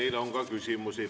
Teile on ka küsimusi.